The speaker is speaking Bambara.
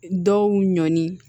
Dɔw ɲɔni